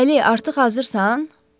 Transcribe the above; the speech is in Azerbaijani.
Əli artıq hazırsan?